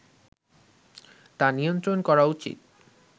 তা নিয়ন্ত্রণ করা উচিত